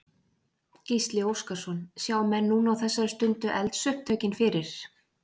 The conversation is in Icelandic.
Gísli Óskarsson: Sjá menn núna á þessari stundu eldsupptökin fyrir?